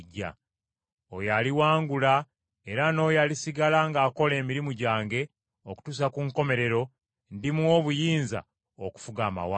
Oyo aliwangula era n’oyo alisigala ng’akola emirimu gyange okutuusa ku nkomerero, ndimuwa obuyinza okufuga amawanga.